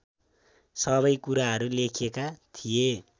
सबै कुराहरू लेखेका थिए